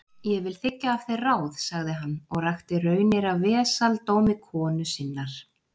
Ég vil þiggja af þér ráð, sagði hann, og rakti raunir af vesaldómi konu sinnar.